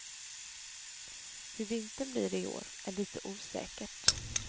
Hur vintern blir i år är lite osäkert.